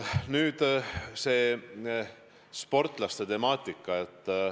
Nüüd, see sportlaste teema.